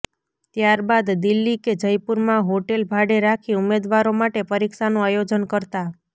ત્યારબાદ દિલ્લી કે જયપુરમાં હોટેલ ભાડે રાખી ઉમેદવારો માટે પરીક્ષાનું આયોજન કરતા